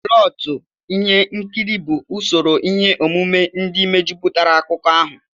Plọtụ Ihe nkiri bụ usoro ihe omume ndị mejupụtara akụkọ ahụ.